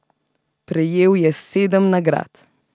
Prejel je sedem nagrad.